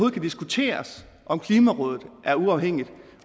kan diskuteres om klimarådet er uafhængigt